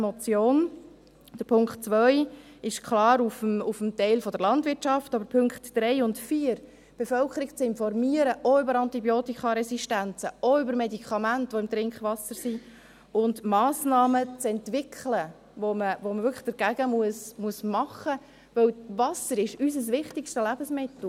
Der Punkt 2 ist klar auf den Teil der Landwirtschaft gerichtet, aber die Punkte 3 und 4, die Bevölkerung zu informieren, auch über Antibiotikaresistenzen, auch über Medikamente, die im Trinkwasser sind, und Massnahmen zu entwickeln, die man wirklich dagegen machen muss, denn ist Wasser unser wichtigstes Lebensmittel …